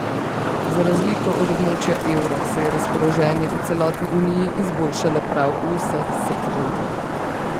Za razliko od območja evra se je razpoloženje v celotni uniji izboljšalo prav v vseh sektorjih.